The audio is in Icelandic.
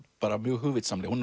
bara hugvitsamlega hún